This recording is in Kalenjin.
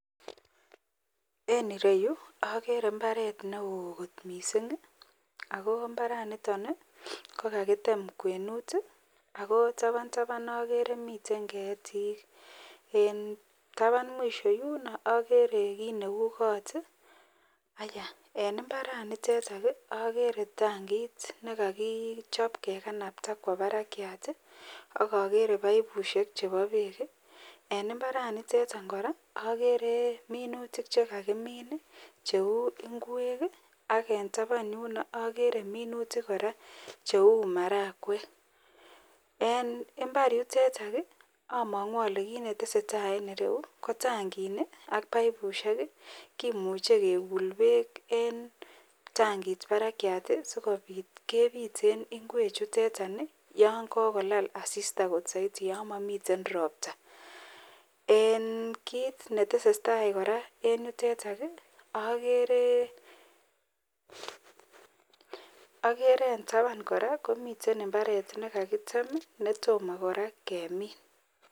En ireyu okere imbaret neoo kot mising ak ko imbaraniton ko kakitem kwenut ak ko taban taban okere miten ketik, en taban mwisho yuno okere kiit neuu koot, ayaa en imbaranitok okere tangit nekokichob kekanabta kwoo barakiat ak okere paipushek chebo beek en, imbaranitet kora okere minutik chekakimin cheuu ingwek ak taban yuno okere minutik cheuu marakwek, en imbar yutetak omongu olee kiit mneteseta en ireyu ko tangini ak paipushek kimuche kekul beek en tangit barakiat sikobit kebiten ingwe chutet any iton yoon kokolal asista soiti yoon momiten robta, en kiit netesetaa kora en yutet okere en taban kora komiten imbaret nekakitem netomo kora kemin.